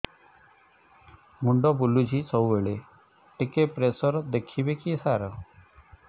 ମୁଣ୍ଡ ବୁଲୁଚି ସବୁବେଳେ ଟିକେ ପ୍ରେସର ଦେଖିବେ କି ସାର